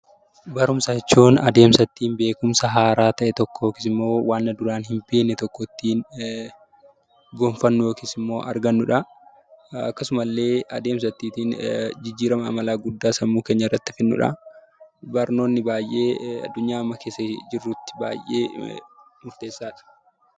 Barumsa jechuun adeemsa ittiin beekumsa haaraa ta'e tokko yookiis immoo waan duraan hin beekne tokko ittiin gonfannu yookiis immoo argannudha. Akkasuma illee adeemsa ittiitiin jijjiirama amalaa guddaa sammuu keenya irratti fidnudha. Barnoonni baay'ee addunyaa amma keessa jirrutti baay'ee murteessaadha.